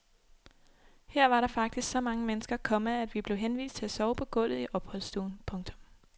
Her var der faktisk så mange mennesker, komma at vi blev henvist til at sove på gulvet i opholdsstuen. punktum